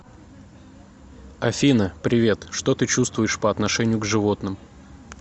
афина привет что ты чувствуешь по отношению к животным